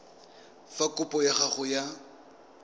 fa kopo ya gago ya